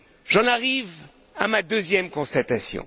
J'en arrive à ma deuxième constatation.